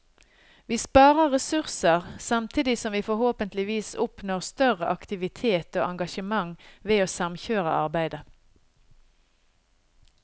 Vi sparer ressurser, samtidig som vi forhåpentligvis oppnår større aktivitet og engasjement ved å samkjøre arbeidet.